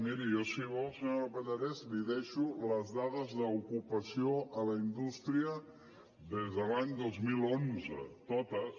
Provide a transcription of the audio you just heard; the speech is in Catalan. miri jo si vol senyora pallarès li deixo les dades d’ocupació a la indústria des de l’any dos mil onze totes